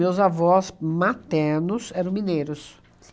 Meus avós maternos eram mineiros.